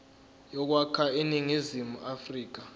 yokwakha iningizimu afrika